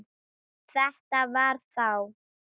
Þetta var þá